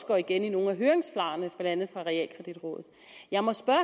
går igen i nogle af høringssvarene blandt andet fra realkreditrådet jeg må spørge